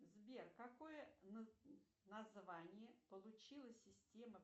сбер какое название получила система